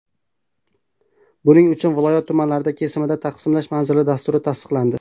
Buning uchun viloyat tumanlari kesimida taqsimlash manzilli dasturi tasdiqlandi.